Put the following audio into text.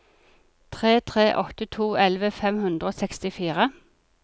tre tre åtte to elleve fem hundre og sekstifire